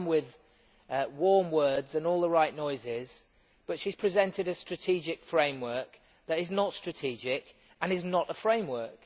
She has come with warm words and all the right noises but she has presented a strategic framework that is not strategic and is not a framework.